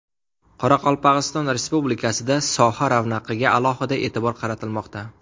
Qoraqalpog‘iston Respublikasida soha ravnaqiga alohida e’tibor qaratilmoqda.